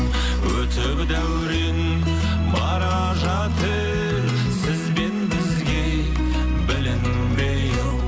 өтіп дәурен бара жатыр сіз бен бізге білінбей ау